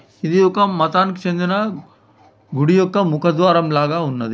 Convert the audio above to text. ఇది ఒక మతానికి చెందిన గుడి యొక్క ముఖద్వారం లాగా ఉన్నది.